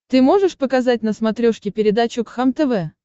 ты можешь показать на смотрешке передачу кхлм тв